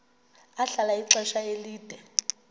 ahlala ixesha elide